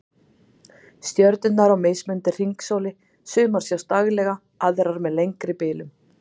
Stjörnurnar á mismunandi hringsóli, sumar sjást daglega, aðrar með lengri bilum